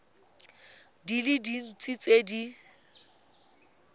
di le dintsi tse di